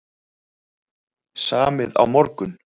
Samið á morgun